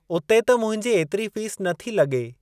उते त मुंहिंजी एतिरी फ़ीस नथी लॻे।